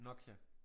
Nokia